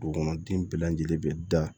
Dugukɔnɔden bɛɛ lajɛlen bɛ da